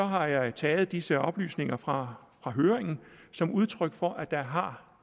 har jeg taget disse oplysninger fra høringen som udtryk for at der har